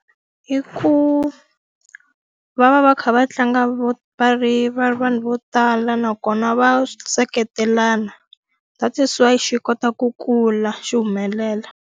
I ku, va va va kha va tlanga va ri va ri vanhu vo tala nakona va seketelana that is why xi kota ku kula xi humelela.